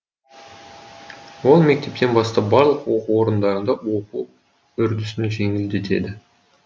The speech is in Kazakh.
ол мектептен бастап барлық оқу орындарында оқу үрдісін жеңілдетеді